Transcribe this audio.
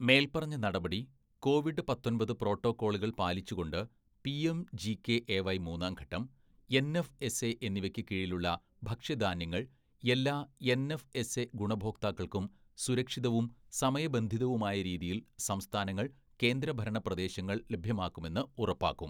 മേൽപ്പറഞ്ഞ നടപടി, കോവിഡ് പത്തൊമ്പത്‌ പ്രോട്ടോക്കോളുകൾ പാലിച്ചുകൊണ്ട് പിഎംജികെഎവൈ മൂന്നാംഘട്ടം, എൻഎഫ്എസ്എ എന്നിവയ്ക്ക് കീഴിലുള്ള ഭക്ഷ്യധാന്യങ്ങൾ എല്ലാ എൻഎഫ്എസ്എ ഗുണഭോക്താക്കൾക്കും സുരക്ഷിതവും സമയബന്ധിതവുമായ രീതിയിൽ സംസ്ഥാനങ്ങൾ കേന്ദ്രഭരണ പ്രദേശങ്ങൾ ലഭ്യമാക്കുമെന്ന് ഉറപ്പാക്കും.